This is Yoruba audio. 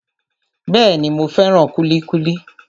Bẹ́ẹ̀ni, mo fẹ́ràn kúlíkúlí